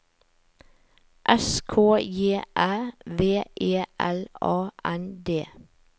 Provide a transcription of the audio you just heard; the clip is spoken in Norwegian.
S K J Æ V E L A N D